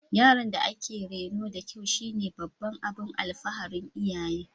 Yaron da aka reno da kyau shine babban abin alfaharin iyaye